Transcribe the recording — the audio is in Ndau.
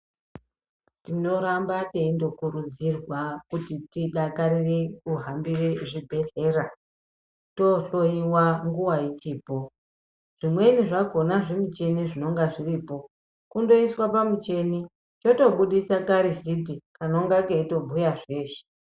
Tinoramba teindokurudzirwa kuti tidakarire kuhambire zvibhedhlera tohloiwa nguva ichipo. Zvimweni zvakona zvimicheni zvinonga zviripo kundoiswa pamucheni chotobudisa karusiti kanonga keitobhuya zveshe.